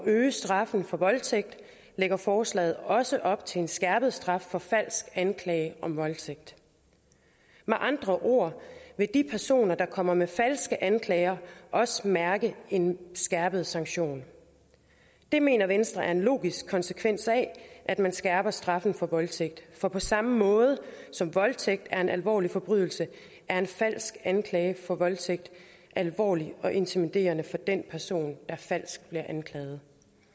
øge straffen for voldtægt lægger forslaget også op til en skærpet straf for falsk anklage om voldtægt med andre ord vil de personer der kommer med falske anklager også mærke en skærpet sanktion det mener venstre er en logisk konsekvens af at man skærper straffen for voldtægt for på samme måde som voldtægt er en alvorlig forbrydelse er en falsk anklage for voldtægt alvorlig og intimiderende for den person der bliver falsk anklaget